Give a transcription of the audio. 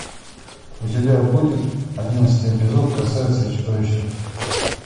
у тебя будет одиннадцатый эпизод красавица и чудовище